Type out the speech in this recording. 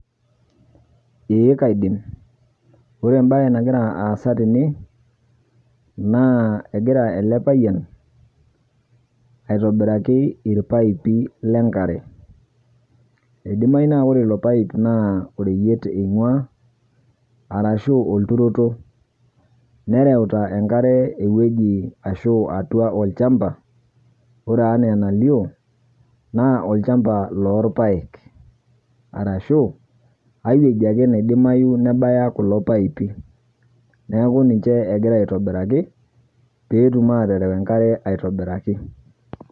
Eeh kaidim, ore embaye nagira aasa tene naa egira elepayian aitobiraki irpaipi lenkare. Eidimayu na ore ilo paip naa oreyiet eing'uaa arashu olturoto nereuta enkare ewueji ashu atua olchamba ore anaaenalio naa olchamba loorpaek arashu aiwueji ake naidimayu nebaya kulo paipi. Neaku ninche egira aitobiraki peetum aatereu enkare aitobiraki.